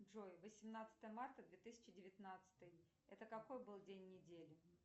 джой восемнадцатое марта две тысячи девятнадцатый это какой был день недели